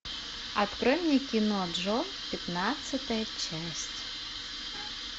открой мне кино джо пятнадцатая часть